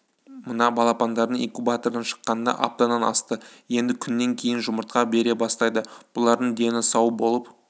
мына балапандардың инкубатордан шыққанына аптадан асты енді күннен кейін жұмыртқа бере бастайды бұлардың дені сау болып